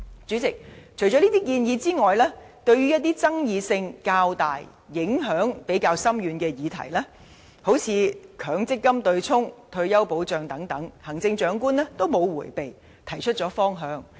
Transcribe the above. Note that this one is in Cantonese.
主席，除上述建議外，對於一些爭議性較大及影響比較深遠的議題，例如強制性公積金對沖機制及退休保障等，行政長官均沒有迴避，提出了方向。